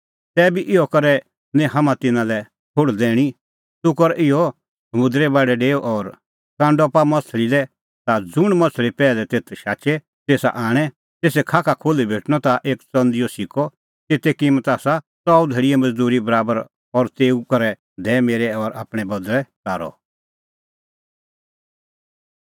तैबी इहअ करै निं हाम्हां तिन्नां लै ठोहल़ दैणीं तूह कर इहअ समुंदरे बाढै डेऊ और कांडअ पाआ माह्छ़ली लै ता ज़ुंण माह्छ़ली पैहलै तेथ शाचे तेसा आणै तेसे खाख खोल्ही भेटणअ ता एक च़ंदीओ सिक्कअ तेते किम्मत आसा च़ऊ धैल़ीए मज़दूरी बराबर और तेऊ निंईं करै दैऐ मेरै और आपणैं बदल़ै कारअ